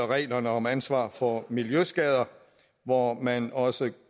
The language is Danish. reglerne om ansvaret for miljøskader hvor man også